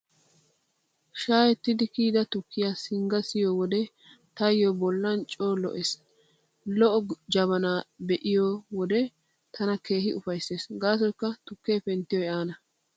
Shaa'ettidi kiyida tukkiyaa singga siyo wode taayyo bollan coo lo'ees. Lo'o jabanaa be'iyo wode tana keehi ufayssees gaasoykka tukkee penttiyoy aana.